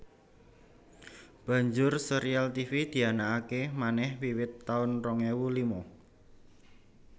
Banjur sérial Tivi dianakaké manèh wiwit taun rong ewu lima